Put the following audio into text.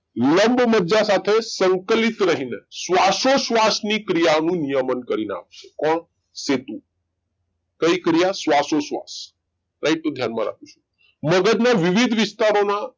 લંબમજ્જા સાથે સંકલિત રહી ને શ્વાસો શ્વાસ ની ક્રિયા નિયમન કરીને આપશે કોણ સેતુ કઈ ક્રિયા શ્વાસો શ્વાશ રાઈટ તો ધ્યાન રાખજો મગજ ના વિવિધ વિસ્તારોમા